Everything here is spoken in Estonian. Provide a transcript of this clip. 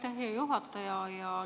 Aitäh, hea juhataja!